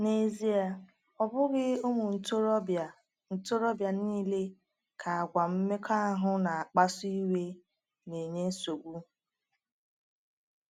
N’ezie, ọ bụghị ụmụ ntorobịa ntorobịa niile ka àgwà mmekọahụ na-akpasu iwe na-enye nsogbu.